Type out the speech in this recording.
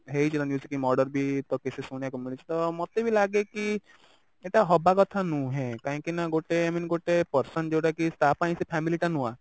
ହେଇଛି ନା basically murder ବି ବେଶୀ ଶୁଣିବାକୁ ମିଳିଛି ତ ମତେ ବି ଲାଗେ କି ଏଇଟା ହବା କଥା ନୁହେଁ କାହିଁକି ନା ଗୋଟେ i mean ଗୋଟେ person ଯୋଉଟା କି ତା ପାଇଁ ସେ family ଟା ନୂଆ